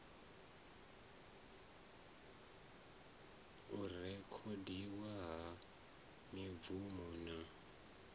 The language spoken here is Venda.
u rekhodiwa ha mibvumo na